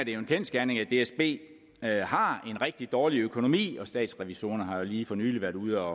jo en kendsgerning at dsb har en rigtig dårlig økonomi og statsrevisorerne har jo lige for nylig været ude